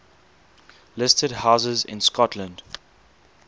listed houses in scotland